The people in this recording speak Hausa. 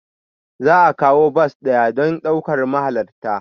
Za a kawo bas ɗaya don ɗaukar mahalarta.